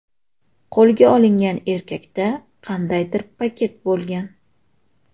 Qo‘lga olingan erkakda qandaydir paket bo‘lgan.